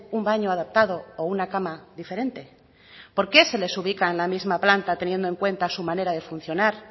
un baño adaptado o una cama diferente por qué se les ubica en la misma planta teniendo en cuenta su manera de funcionar